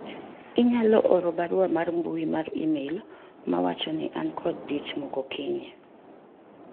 inyalo oro barua mar mbui mar email mawacho ni an kod dich moko kiny